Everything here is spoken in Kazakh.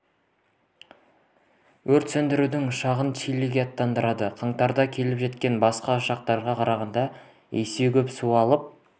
өрт сөндіретін ұшағын чилиге аттандырды қаңтарда келіп жеткен басқа ұшақтарға қарағанда есе көп су алып